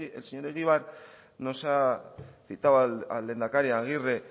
el señor egibar nos ha citado al lehendakari agirre